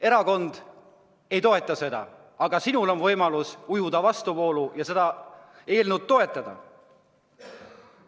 Erakond ei toeta seda eelnõu, aga sinul on võimalus ujuda vastuvoolu ja seda eelnõu toetada.